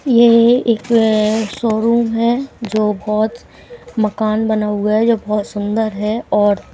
ये एक शोरूम है जो बहुत मकान बना हुआ है जो बहुत सुंदर है और--